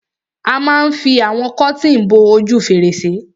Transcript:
A ma fi àwọn kọ́tìn bo ojú fèrèsé.